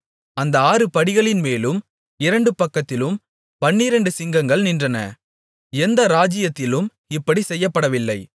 அந்த ஆறு படிகளின்மேலும் இரண்டு பக்கத்திலும் பன்னிரண்டு சிங்கங்கள் நின்றன எந்த ராஜ்ஜியத்திலும் இப்படிச் செய்யப்படவில்லை